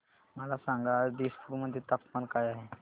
मला सांगा आज दिसपूर मध्ये तापमान काय आहे